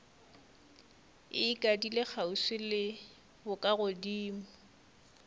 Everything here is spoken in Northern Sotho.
e ikadile kgauswi le bokagodimo